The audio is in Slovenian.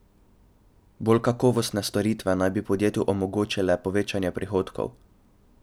Bolj kakovostne storitve naj bi podjetju omogočile povečanje prihodkov.